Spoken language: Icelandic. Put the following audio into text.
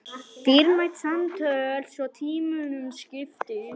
Dýrmæt samtöl svo tímunum skipti.